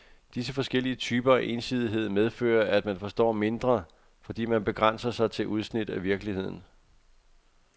Disse forskellige typer af ensidighed medfører, at man forstår mindre, fordi man begrænser sig til udsnit af virkeligheden.